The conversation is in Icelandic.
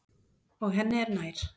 Og henni er nær.